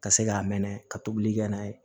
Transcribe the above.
Ka se k'a mɛnɛ ka tobili kɛ n'a ye